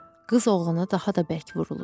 Qız oğlana daha da bərk vurulur.